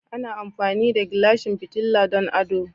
Ana amfani da Gilashin fitila don ado.